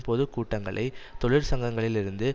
பொது கூட்டங்களை தொழிற்சங்கங்களில் இருந்து